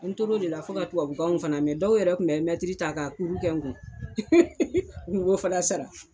N tor'o de la fo ka tubabukanw fana mɛ. Dɔw yɛrɛ tun bɛ mɛtiri ta ka kuru kɛ n kun. U b'o fana sara.